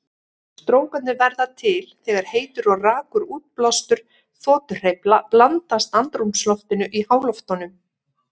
Strókarnir verða til þegar heitur og rakur útblástur þotuhreyfla blandast andrúmsloftinu í háloftunum.